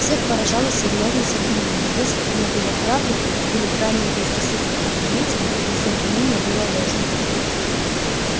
всех поражала серьёзность обвинения если оно было правдой или крайнее безрассудство обвинителей если обвинение было ложным